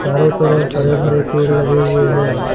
चारों तरफ हरे भरे पेड़ लगे हुए हैं।